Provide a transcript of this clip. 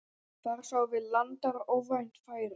Þar sáum við landar óvænt færi.